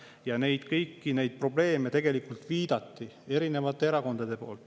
Ja kõikidele nendele probleemidele tegelikult viitasid erinevad erakonnad.